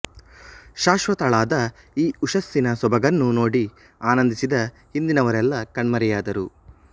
ಶಾಶ್ವತಳಾದ ಈ ಉಷಸ್ಸಿನ ಸೊಬಗನ್ನು ನೋಡಿ ಆನಂದಿಸಿದ ಹಿಂದಿನವರೆಲ್ಲ ಕಣ್ಮರೆಯಾದರು